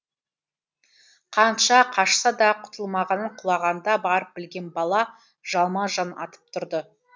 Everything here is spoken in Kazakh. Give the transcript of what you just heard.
қанша қашса да құтылмағанын құлағанда барып білген бала жалма жан атып тұрды